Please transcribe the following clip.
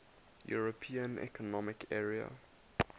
european economic area